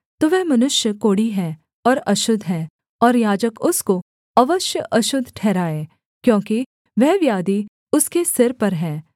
तो वह मनुष्य कोढ़ी है और अशुद्ध है और याजक उसको अवश्य अशुद्ध ठहराए क्योंकि वह व्याधि उसके सिर पर है